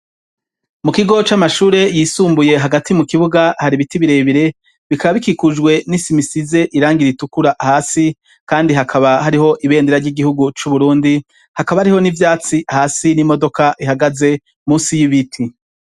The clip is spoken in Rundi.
Mu kigo c'amashure yisumbuye hagati mu kibuga hari ibiti birebire bikaba bikikujwe n'isimisize irangire itukura hasi kandi hakaba hariho ibendera ry'igihugu c'uburundi hakaba hariho n'ivyatsi hasi n'imodoka ihagaze munsi y'ibiti.